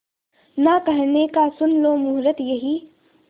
ना कहने का सुन लो मुहूर्त यही